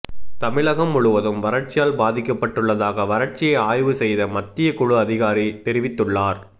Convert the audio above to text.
தமிழகம் முழுவதும் வறட்சியால் பாதிக்கப்பட்டுள்ளதாக வறட்சியை ஆய்வு செய்த மத்திய குழு அதிகாரி தெரிவித்துள்ளார்